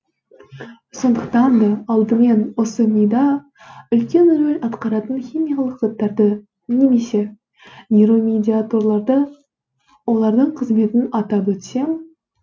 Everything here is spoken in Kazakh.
сондықтан да алдымен осы мида үлкен рөл атқаратын химиялық заттарды немесе нейромедиаторларды олардың қызметін атап өтсем